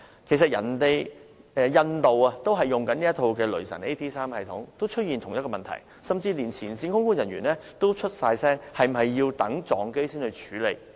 其實，印度空管系統也使用"雷神 AT3" 系統，亦出現同樣問題，甚至連前線空管人員都發聲，質疑是否要等到空難發生才去處理？